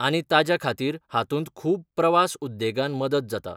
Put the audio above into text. आनी ताज्या खातीर हातूंत खूब प्रवास उद्देगान मदत जाता.